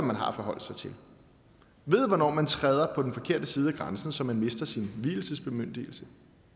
man har at forholde sig til ved hvornår man træder på den forkerte side af grænsen så man mister sin vielsesbemyndigelse